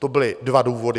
To byly dva důvody.